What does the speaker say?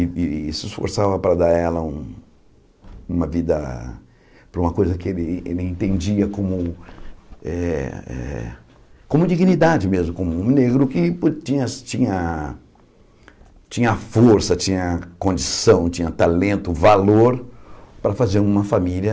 E e se esforçava para dar a ela um uma vida, para uma coisa que ele entendia como eh eh como dignidade mesmo, como um negro que tinha tinha tinha tinha força, tinha condição, tinha talento, valor para fazer uma família...